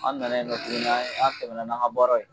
An nana yen nɔ tuguni an ye an tɛmɛ n'an ka baara ye